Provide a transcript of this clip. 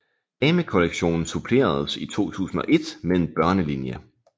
Damekollektionen suppleredes i 2001 med en børnelinje